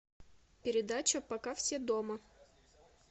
передача пока все дома